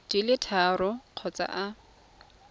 di le tharo kgotsa a